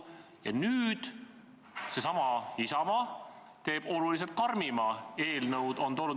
Ja nüüd toob seesama Isamaa meie ette oluliselt karmima eelnõu.